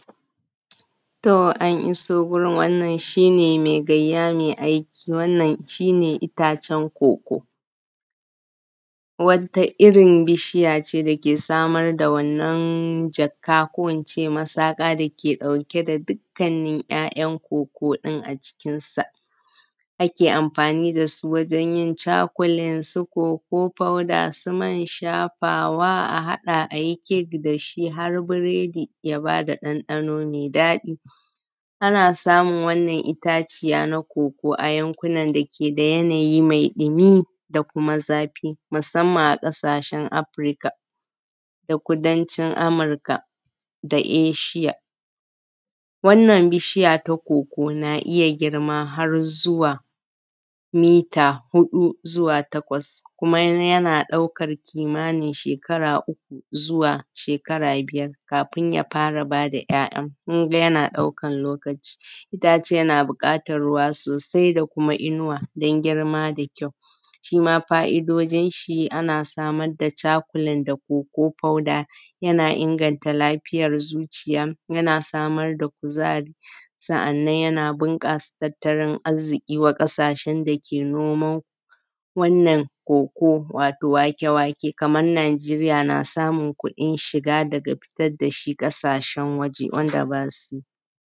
To an iso wajen, shi ne mai gayya mai aiki, wannan shi ne itacen koko. Wata irin bishiya ce dake samar da wannan jaka ko ince masaka dake ɗauke da dukkanin ‘ya’yan koko ɗin a jikinsa. Ake amfani dasu wajen yin cakulen su koko powder, su man shafawa a haɗa ayi kek dashi, har biredi ya bada ɗanɗano mai daɗi. Ana samun wannan itaciya na koko a yankunan da yake da yanayi mai dumi da kuma zafi, musamman a ƙasashen Afrika da kudancin Amurka da ishiya. Wannan bishiya ta koko na iya girma har zuwa mita huɗu zuwa takwas, kuma yana ɗaukan kimanin shekara uku zuwa shekara biyar kafin ya fara bada ‘ya’yan, kunga yana ɗaukan lokaci. Itacen na buƙatan ruwa sosai da kuma inuwa don girma da kyau. Shima fa’idojin shi ana samar da cakulan da koko powder, yana inganta lafiyar zuciya, yana samar da kuzari, sannan yana bunƙasa tattalin arziki wa ƙasashen dake noman wananna koko, wato wake-wake, kaman Nijeriya na samun kuɗin shiga daga fitar dashi ƙasashen waje wanda basu.